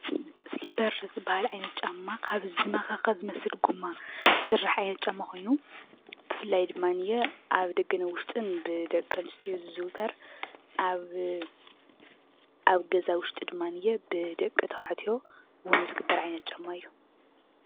ስሊፐር ዝበሃል ዓይነት ጫማ ካብ ዝመከከ ዝመስል ጎማ ዝስራሕ ዓይነት ጫማ ኮይኑ፣ ብፍላይ ድማ ኣብ ደገን ኣብ ዉሽጥን ብደቂ ኣንስትዮ ዝዝውተር፣ ኣብ ገዛ ዉሽጢ ድማ ብደቂተባዕቲዮ እውን ዝግበር ዓይነት ጫማ እዩ።